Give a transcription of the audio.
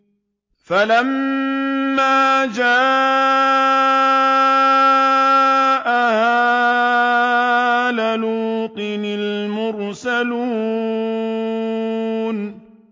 فَلَمَّا جَاءَ آلَ لُوطٍ الْمُرْسَلُونَ